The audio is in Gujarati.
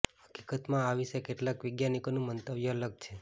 હકીકતમાં આ વિશે કેટલાક વૈજ્ઞાનિકોનું મંતવ્ય અલગ છે